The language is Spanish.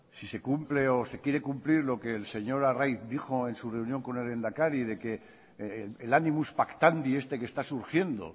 si se cumple o se quiere cumplir lo que el señor arraiz dijo en su reunión con el lehendakari de que el animus pactandi este que está surgiendo